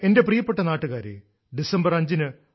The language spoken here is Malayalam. എന്റെ പ്രിയപ്പെട്ട നാട്ടുകാരെ ഡിസംബർ 5 ശ്രീ